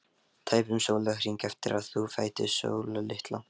Tæpum sólarhring eftir að þú fæddist, Sóla litla.